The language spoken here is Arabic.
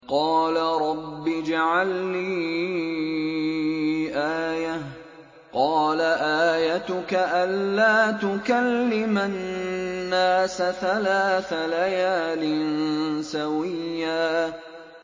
قَالَ رَبِّ اجْعَل لِّي آيَةً ۚ قَالَ آيَتُكَ أَلَّا تُكَلِّمَ النَّاسَ ثَلَاثَ لَيَالٍ سَوِيًّا